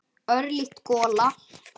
Örlítil gola.